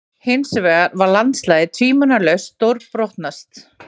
Hinsvegar var landslagið tvímælalaust stórbrotnast.